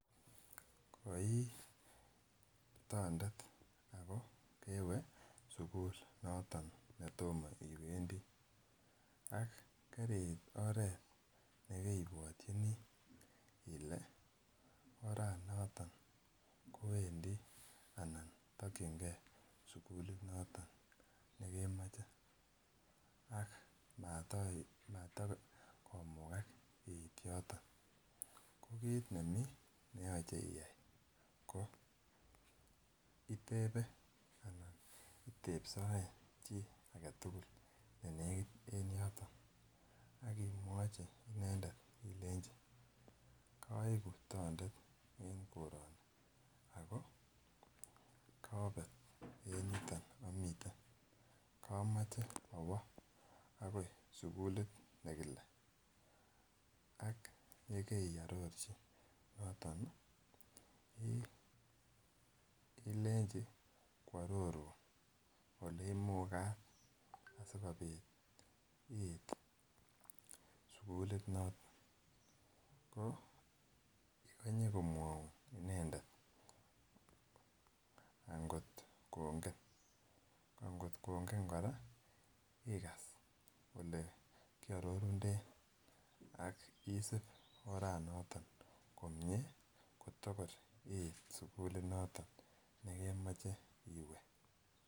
Koi tondet Ako kewe sukul noton netomo kwendii ak keriit oret nekebwochini ile oranoton kowendii anan tokingee sukulit noton nekemoche ak matokomuka it yoton, ko kit nemii neyoche iyai ko itepen itepsoen chii agetukul nenekit en yoton akimwochi inendet ilenji koiku tondet en koroni Ako konet en yoton omiten komoche owoo akoi sukulit nekile ak yekeororchi yoton ilenji kwororun oleimukat sikopit iit sukulit noton ko ikonye komwoun inendet akot kongen ankot kongen koraa ikas ole kiororunden ak isib oranoton komie kitokor iit sukulit noton nekemoche iwee.